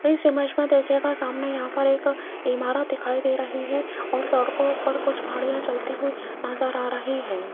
इस इमेज में देखिएगा सामने यहां पर एक इमारत दिखाई दे रही है और सड़कों पर कुछ गाड़ियां चलती हुई नजर आ रही है।